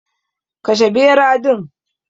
Kashe bera din.